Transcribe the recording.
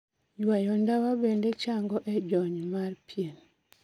Yuayo ndawa bende chango e jony mar pien